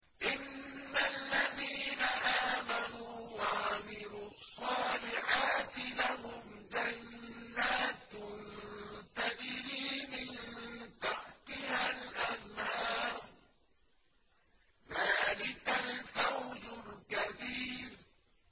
إِنَّ الَّذِينَ آمَنُوا وَعَمِلُوا الصَّالِحَاتِ لَهُمْ جَنَّاتٌ تَجْرِي مِن تَحْتِهَا الْأَنْهَارُ ۚ ذَٰلِكَ الْفَوْزُ الْكَبِيرُ